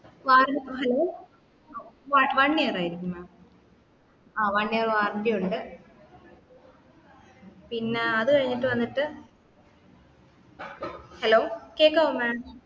വാറ hello one year ആയിരിക്കും mam ആഹ് one year warranty ഉണ്ട് പിന്നാ അത് കഴിഞ്ഞിട്ട് വന്നിട്ട്